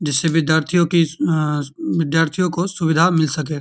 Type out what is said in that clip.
जिससे विद्यार्थीयों की आ विद्यार्थियों को सुविधा मिल सके।